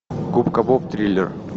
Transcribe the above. губка боб триллер